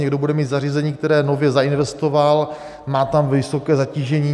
Někdo bude mít zařízení, které nově zainvestoval, má tam vysoké zatížení.